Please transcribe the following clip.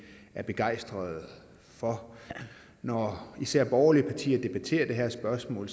er begejstrede for når især borgerlige partier debatterer det her spørgsmål